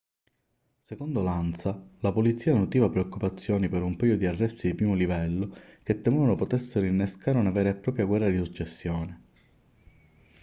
secondo l'ansa la polizia nutriva preoccupazioni per un paio di arresti di primo livello che temevano potessero innescare una vera e propria guerra di successione